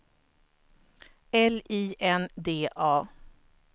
L I N D A